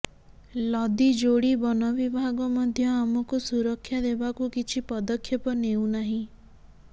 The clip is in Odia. ଲଦିଯୋଡ଼ି ବନ ବିଭାଗ ମଧ୍ୟ ଆମକୁ ସୁରକ୍ଷା ଦେବାକୁ କିଛି ପଦକ୍ଷେପ ନେଉ ନାହିଁ